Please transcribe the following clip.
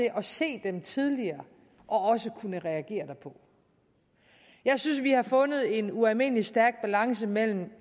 af at se dem tidligere og at kunne reagere derpå jeg synes vi har fundet en ualmindelig stærk balance mellem